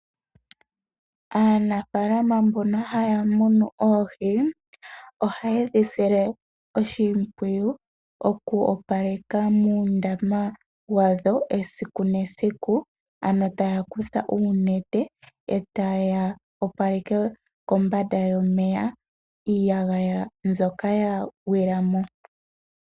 Aanafaalama mbono haya munu oohi ohayedhisile oshimpwiyu oku opaleka muundama wadho esiku nesiku ano taya kutha oonete etaya opaleke kombanda yomeya iiyagaya mbyoka ya gwilamo.